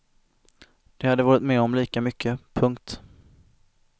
De hade varit med om lika mycket. punkt